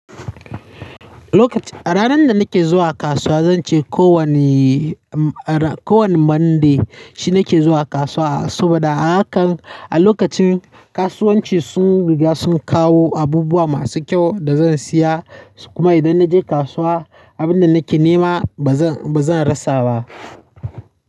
Lokacin a ranar da nake zuwa kasuwa zance kowane kowane Monday shi nake zuwa kasuwa, saboda a hakan a lokacin kasuwanci sun riga sun kawo abubuwa masu kyau da zan siya kuma idan na je kasuwa abin da nake nema ba zan, ba zan rasa ba.